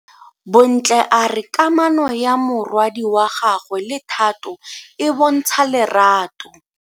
Bontle a re kamano ya morwadi wa gagwe le Thato e bontsha lerato.